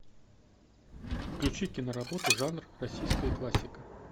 включи киноработу жанр российская классика